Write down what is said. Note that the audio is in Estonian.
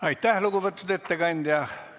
Aitäh, lugupeetud ettekandja!